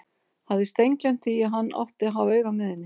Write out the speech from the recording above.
Hafði steingleymt því að hann átti að hafa auga með henni!